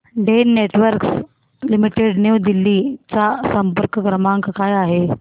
Den networks limited new Delhi चा संपर्क क्रमांक काय आहे